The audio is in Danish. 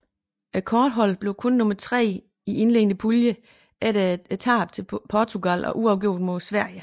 Kårdeholdet blev kun nummer tre i indledende pulje efter tab til Portugal og uafgjort mod Sverige